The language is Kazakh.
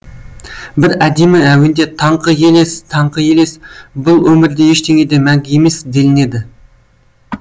бір әдемі әуенде таңғы елес таңғы елес бұл өмірде ештеңе де мәңгі емес делінеді